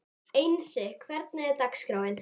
Einsi, hvernig er dagskráin?